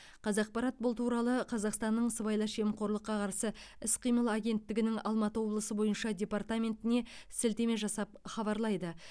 қазақпарат бұл туралы қазақстанның сыбайлас жемқорлыққа қарсы іс қимыл агенттігінің алматы облысы бойынша департаментіне сілтеме жасап хабарлайды